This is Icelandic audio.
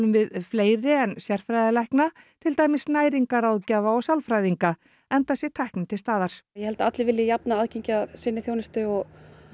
við fleiri en sérfræðilækna til dæmis næringarráðgjafa og sálfræðinga enda sé tæknin til staðar ég held að allir vilji jafnt aðgengi að sinni þjónustu og